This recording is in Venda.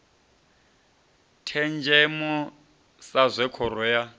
thenzhemo sa zwe khoro ya